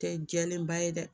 Tɛ jɛlenba ye dɛ